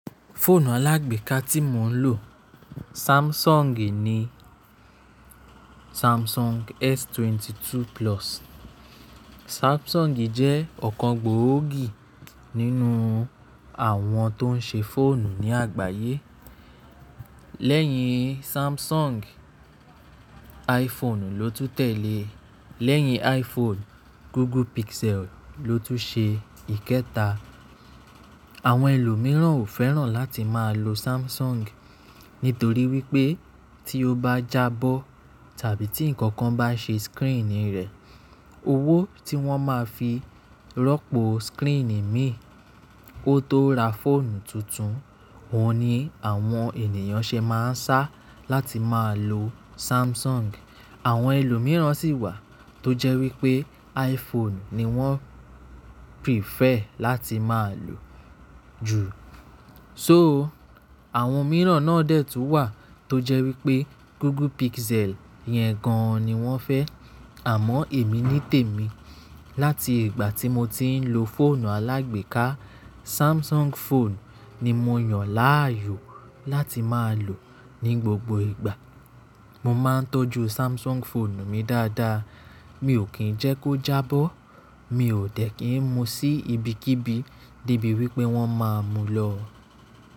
Fóònù alágbèéká tí mo ń lò Samsung ni Samsungi S22 Plus. Samsungi jẹ́ ọ̀kan gbòógì nínú àwọn tó ń ṣe fóònù ní àgbáyé. Lẹ́yìn Samsung, iPhone ló tún tẹ̀lé, lẹ́yìn iPhone, Google Pixel ló tún ṣe ìkẹta. Àwọn ẹlòmíràn ò fẹ́ràn láti máa lo Samsung nítorí wípé tí ó bá jábọ́ tàbí tí ǹkan kan bá ṣe sikirin rẹ̀, owó tí wọ́n máa fi rọ́pò sikiin mi ó tó ra fóònù tuntun, òun ni àwọn ènìyàn ṣe máa ń sá láti máa lo Samsung. Àwọn ẹlòmíràn sì wà tó jẹ́ wípé iPhone ni wọ́n fẹ́ràn láti máa lò jù. Àwọn mìíràn náà dẹ̀ tún wà tó jẹ́ wípé Google Pixel yẹn gan-an ni wọ́n fẹ́. Àmọ́ èmi nítèmi láti ìgbà tí mo ti ń lo fóònù alágbèéká, Samsung fóònù ni mo yàn láàyò láti máa lò ní gbogbo ìgbà. Mo máa ń tọ́jú Samsung fóònù mi dáadáa, mi ò kín ń jẹ́ kó jábọ́, mi ò dẹ̀ kín ń mú sí ibikíbi debí wípé wọ́n máa mú lọ.